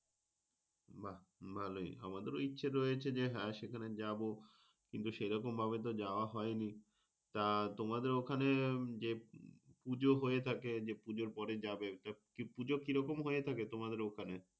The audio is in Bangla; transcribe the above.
বাহ ভালোই। আমাদের ও ইচ্ছে রয়েছে যে, হ্যাঁ সেখানে যাব কিন্তু সেইরকম ভাবো তো যাওয়া হয়নি। তা তোমাদের ওখনে যে, পুজো হয়ে থাকে যে পূজোর পরে যাবে। পুজো কি রকম হয়ে থাকে তোমাদের ওখানে?